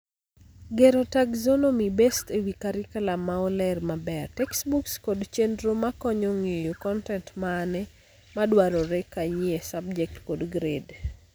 Gero taxonomy based ewii carriculum ma oleer maber, textbooks kod chendro makonyo ng'eyo kontent mane madwarore kanyeei subject kod grade.